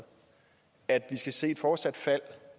at vi skal se et fortsat fald